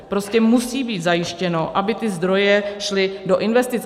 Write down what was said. Prostě musí být zajištěno, aby ty zdroje šly do investic.